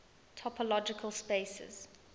topological spaces